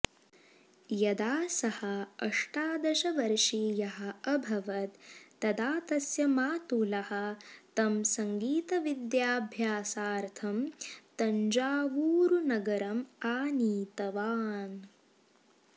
यदा सः अष्टादशवर्षीयः अभवत् तदा तस्य मातुलः तं सङ्गीतविद्याभ्यासार्थं तञ्जावूरुनगरम् आनीतवान्